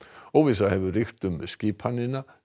óvissa hefur ríkt um skipanina